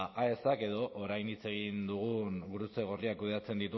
aesak edo orain hitz egin dugun gurutze gorriak kudeatzen